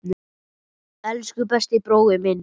Elsku besti brói minn.